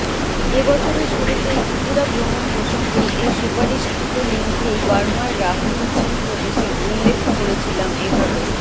এবছরের শুরুতেই ত্রিপুরা ভ্রমণ প্রসঙ্গেই এই সুপারিশকৃত লিন্কেই বার্মার রাখইন চিন প্রদেশের উল্লেখ করেছিলাম এভাবে